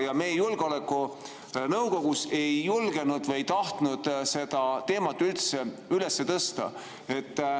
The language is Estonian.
Ja meie julgeolekunõukogus ei julgenud või ei tahtnud seda teemat üldse üles tõsta.